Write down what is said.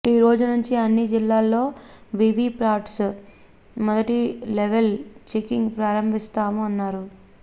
ఈ రోజు నుంచి అన్ని జిల్లాల్లో వివి పాట్స్ మొదటి లెవల్ చెకింగ్ ప్రారంభిస్తామ న్నారు